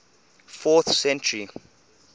fourth century